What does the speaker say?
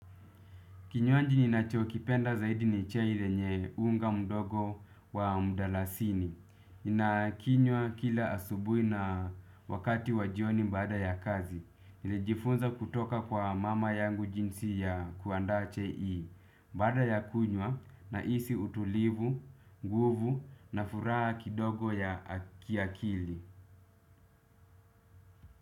Kinywaji ninacho kipenda zaidi ni chei lenye unga mdogo wa mdalasini. Na kinywa kila asubui na wakati wa jioni baada ya kazi. Nili jifunza kutoka kwa mama yangu jinsi ya kuandaa chai hii. Baada ya kunywa nahisi utulivu, nguvu na furaha kidogo ya kia kili.